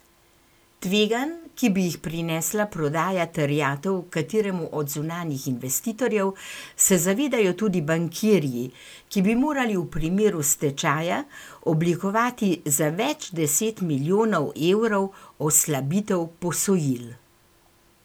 Tveganj, ki bi jih prinesla prodaja terjatev kateremu od zunanjih investitorjev, se zavedajo tudi bankirji, ki bi morali v primeru stečaja oblikovati za več deset milijonov evrov oslabitev posojil.